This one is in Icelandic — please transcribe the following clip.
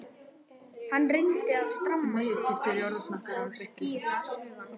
Hann reyndi að stramma sig af og skýra hugann.